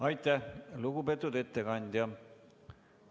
Aitäh, lugupeetud ettekandja!